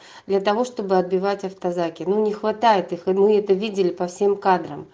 для того чтобы отбивать авто закину не хватает их и мы это видели по всем к